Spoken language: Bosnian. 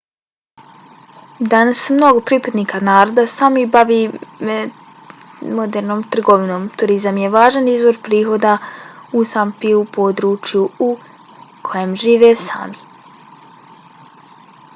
danas se mnogo pripadnika naroda sámi bavi modernom trgovinom. turizam je važan izvor prihoda u sápmiju području u kojem žive sámi